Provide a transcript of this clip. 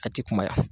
A ti kuma